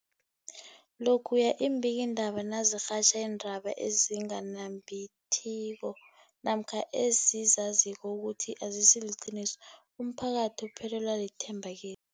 Lokhuya iimbikiindaba nazirhatjha iindaba ezinga nembitiko namkha ezizaziko ukuthi azisiliqiniso, umphakathi uphelelwa lithemba ki